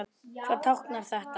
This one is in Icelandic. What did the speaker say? Hvað táknar þetta?